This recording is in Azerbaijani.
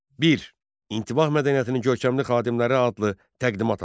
1. İntibah mədəniyyətinin görkəmli xadimləri adlı təqdimat hazırla.